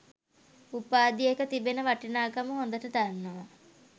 උපාධියක තිබෙන වටිනාකම හොඳට දන්නවා.